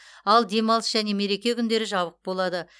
ал демалыс және мереке күндері жабық болады